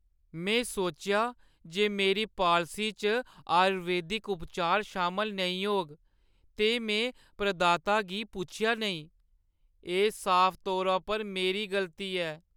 में सोचेआ जे मेरी पालसी च आयुर्वेदिक उपचार शामल नेईं होग ते में प्रदाता गी पुच्छेआ नेईं । एह् साफ तौरा पर मेरी गलती ऐ।